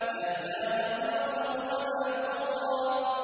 مَا زَاغَ الْبَصَرُ وَمَا طَغَىٰ